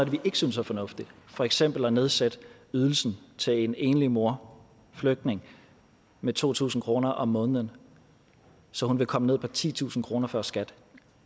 vi ikke synes er fornuftigt for eksempel at nedsætte ydelsen til en enlig mor en flygtning med to tusind kroner om måneden så hun vil komme ned på titusind kroner før skat